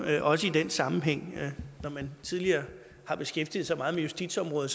også i den sammenhæng når man tidligere har beskæftiget sig meget med justitsområdet